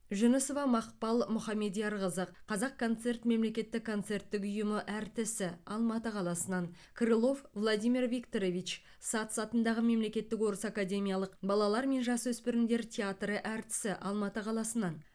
жүнісова мақпал мұхамедиярқызы қазақконцерт мемлекеттік концерттік ұйымы әртісі алматы қаласынан крылов владимир викторович сац атындағы мемлекеттік орыс академиялық балалар мен жасөспірімдер театры әртісі алматы қаласынан